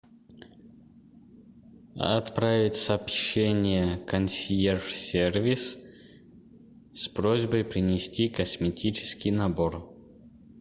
отправить сообщение консьерж сервис с просьбой принести косметический набор